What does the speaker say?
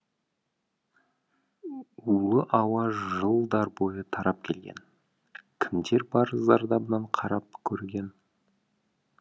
улы ауа жылдар бойы тарап келген кімдер бар зардабына қарап көрген